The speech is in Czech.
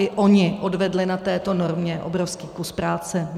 I oni odvedli na této normě obrovský kus práce.